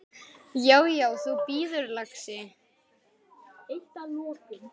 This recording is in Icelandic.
Já, já. þú bíður, lagsi!